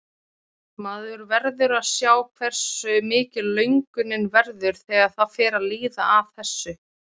Maður verður að sjá hversu mikil löngunin verður þegar það fer að líða að þessu.